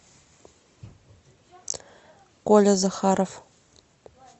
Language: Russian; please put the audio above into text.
коля захаров